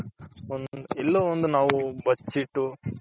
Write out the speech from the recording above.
ಎಲ್ಲೊ ಒಂದ್ ನಾವು ಬಚಿಟ್ಟು